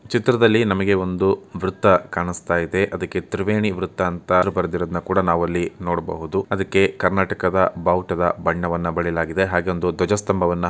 ಈ ಚಿತ್ರದಲ್ಲಿ ನಮಗೆ ಒಂದು ವೃತ್ತ ಕಾಣಿಸುತ್ತಾ ಇದೆ ಅದಕ್ಕೆ ತ್ರಿವೇಣಿ ವೃತ್ತಾ ಅಂತ ಬರೆದಿರುವುದನ್ನು ನಾವು ಇಲ್ಲಿ ನೋಡಬಹುದು. ಅದಕ್ಕೆ ಕರ್ನಾಟಕದ ಬಾವುಟದ ಬಣ್ಣವನ್ನು ಬಳಿಯಲಾಗಿದೆ ಹಾಗೆ ಒಂದು ಧ್ವಜಸ್ಥಂಭವನ್ನ--